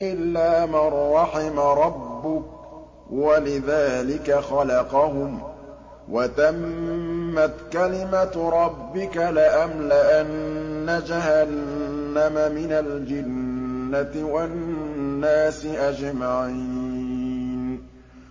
إِلَّا مَن رَّحِمَ رَبُّكَ ۚ وَلِذَٰلِكَ خَلَقَهُمْ ۗ وَتَمَّتْ كَلِمَةُ رَبِّكَ لَأَمْلَأَنَّ جَهَنَّمَ مِنَ الْجِنَّةِ وَالنَّاسِ أَجْمَعِينَ